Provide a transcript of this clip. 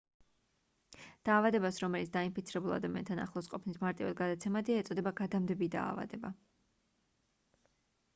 დაავადებას რომელიც დაინფიცირებულ ადამიანთან ახლოს ყოფნით მარტივად გადაცემადია ეწოდება გადამდები დაავადება